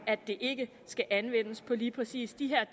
at det ikke skal anvendes på lige præcis de her